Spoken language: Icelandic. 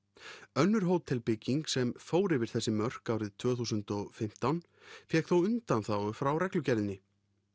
önnur hótelbygging sem fór yfir þessi mörk árið tvö þúsund og fimmtán fékk þó undanþágu frá reglugerðinni